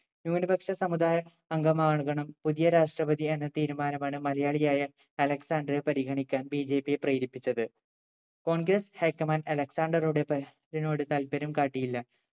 ന്യൂനപക്ഷ സമുദായ അംഗമാകണം പുതിയ രാഷ്ട്രപതി എന്ന തീരുമാനം ആണ് മലയാളിയായ അലക്‌സാണ്ടറെ പരിഗണിക്കാൻ BJP യെ പ്രേരിപ്പിച്ചത് congress high command അലക്‌സാണ്ടറുടെ നോട് താല്പര്യം കാട്ടിയില്ല